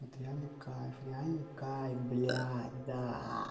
это реальный кайф реальный кайф блядь да